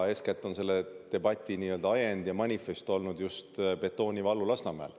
Eeskätt on selle debati ajend ja manifest olnud just betoonivalu Lasnamäel.